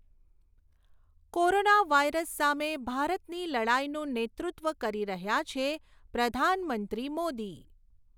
corona virus સામે ભારતની લડાઈનું નેતૃત્વ કરી રહ્યા છે પ્રધાનમંત્રી મોદી